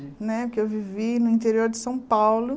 Né que eu vivi no interior de São Paulo.